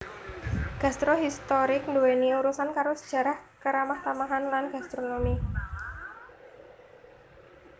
Gastro historik nduwèni urusan karo sajarah karamahtamahan lan gastronomi